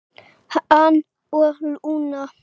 Hann og Lúna.